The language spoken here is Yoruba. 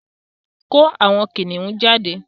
Ko àwon Kiniun jade